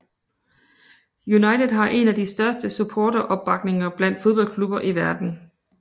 United har en af de største supporteropbakninger blandt fodboldklubber i verden